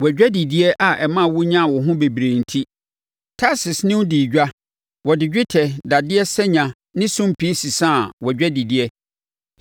“ ‘Wʼadwadideɛ a ɛmaa wo nyaa wo ho bebree enti, Tarsis ne wo dii edwa. Wɔde dwetɛ, dadeɛ, sanya ne sumpii sesaa wʼadwadideɛ.